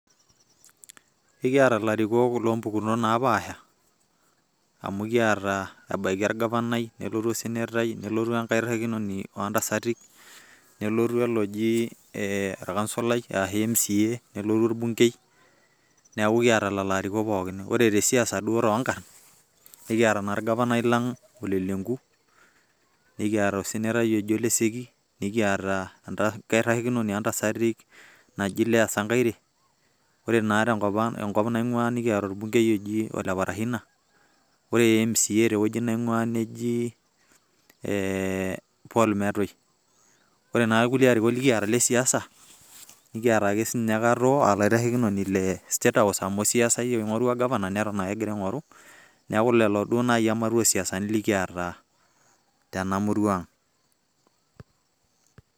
ekiata ilarikok oota impukunot naapaasha, ekiata ebaiki orgafanai, nelotu osenetai, nelotu enkairikinoni oontasati, nelotu oloji mca, nelotu orbunkei, neeku ekiata duo lelo pookin. ore te siaisa duoo too nkarn, ekiata naa orgafanai lang' ole lenku, nikiata osenetai oji ole seki, nikiata enkaitashekinoni oo ntasati naji leah sankaire, ore naa te nkop naing'uaa nikiata orbunkei oji ole parashina, ore mca te nkop naing'uaa te wueji neji, paul metuy, ore naa kulie arikok likiata le siasa, ekiata ake sii inyye katoo olaitashekinoni le state house ,amu osiasai ake sii ninye.